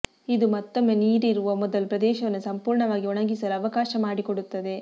ಇದು ಮತ್ತೊಮ್ಮೆ ನೀರಿರುವ ಮೊದಲು ಪ್ರದೇಶವನ್ನು ಸಂಪೂರ್ಣವಾಗಿ ಒಣಗಿಸಲು ಅವಕಾಶ ಮಾಡಿಕೊಡುತ್ತದೆ